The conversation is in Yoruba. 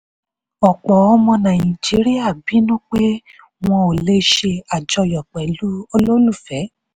ọ̀pọ̀ ọmọ nàìjíríà bínú pé wọn ò le ṣe àjọyọ̀ pẹ̀lú olólùfẹ́.